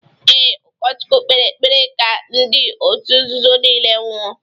Ee, ụkọchukwu kpere ekpere ka ndị otu nzuzo nile nwụọ